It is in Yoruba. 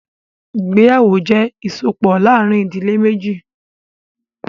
Ìgbéyàwó jẹ́ ìsopọ̀ láàrin ìdílé méjì.